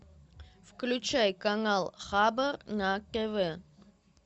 включай канал хабар на тв